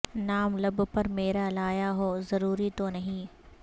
نام لب پر میرا لایا ہو ضروری تو نہیں